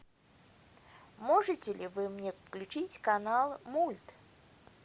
можете ли вы мне включить канал мульт